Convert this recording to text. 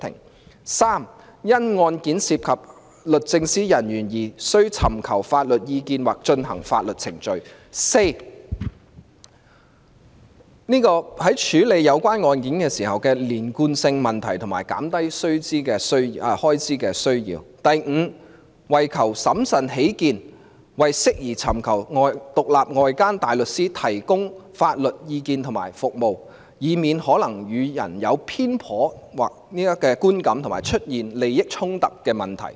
第三，基於案件涉及律政司人員而須尋求法律意見或進行法律程序。第四，在處理有關案件時的連貫性問題及減少開支的需要。第五，為求審慎起見，認為適宜尋求獨立外間大律師提供法律意見及服務，以免可能予人有偏頗的觀感和出現利益衝突的問題。